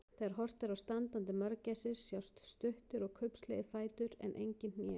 Þegar horft er á standandi mörgæsir sjást stuttir og kubbslegir fætur en engin hné.